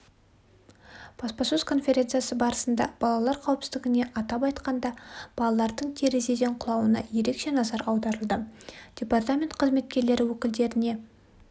баспасөз конференциясы барысында балалар қауіпсіздігіне атап айтқанда балалардың терезеден құлауына ерекше назар аударылды департамент қызметкерлері өкілдеріне